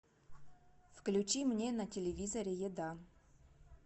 включи мне на телевизоре еда